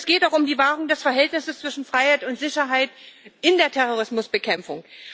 Es geht auch um die Wahrung des Verhältnisses zwischen Freiheit und Sicherheit in der Terrorismusbekämpfung.